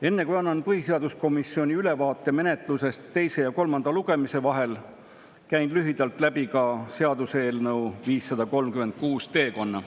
Enne kui annan ülevaate põhiseaduskomisjonis teise ja kolmanda lugemise vahel toimunud menetlusest, käin lühidalt läbi ka seaduseelnõu 536 teekonna.